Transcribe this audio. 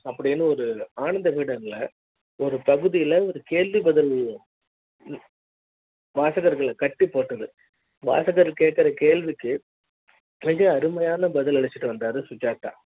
அப்படி ன்னு ஒரு ஆனந்த விகடன்ல ஒரு பகுதியில ஒரு கேள்வி பதில் வாசகர்கள கட்டி போட்டது வாசகர் கேக்குற கேள்விக்கு மிக அருமையான பதில் அளித்து வந்தார் சுஜாதா